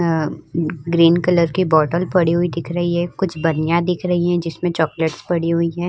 अअ green colour की bottle पड़ी हुई दिख रही है। कुछ बनिया दिख रही हैं। जिसमे चॉकलेट्स पड़ी हुई हैं।